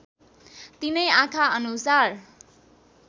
तिनै आँखा अनुसार